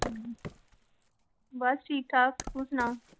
ਬਸ ਠੀਕ ਠਾਕ ਤੂੰ ਸੁਣਾ।